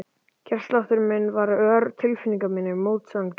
Hjartsláttur minn varð ör og tilfinningar mínar mótsagnakenndar.